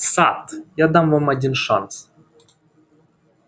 сатт я дам вам один шанс